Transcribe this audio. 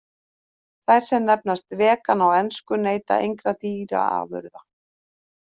Þær sem nefnast vegan á ensku neyta engra dýraafurða.